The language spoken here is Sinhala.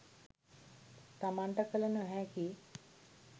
තමන්ට කළ නොහැකි